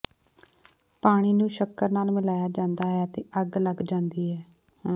ਪਾਣੀ ਨੂੰ ਸ਼ੱਕਰ ਨਾਲ ਮਿਲਾਇਆ ਜਾਂਦਾ ਹੈ ਅਤੇ ਅੱਗ ਲੱਗ ਜਾਂਦੀ ਹੈ